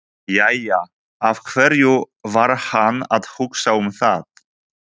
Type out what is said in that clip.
Jæja, af hverju var hann að hugsa um það?